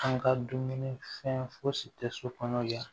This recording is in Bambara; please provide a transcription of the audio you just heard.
An ka dumuni fɛn fosi tɛ so kɔnɔ yan